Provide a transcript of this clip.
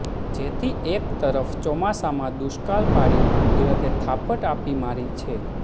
જેથી એક તરફ ચોમાસામાં દુષ્કાળ પાડી કુદરતે થાપટ આપી મારી છે